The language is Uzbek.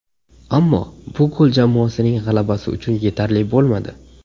Ammo bu gol jamoasining g‘alabasi uchun yetarli bo‘lmadi.